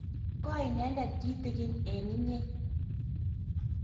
koi inendet kitegen eng' inyr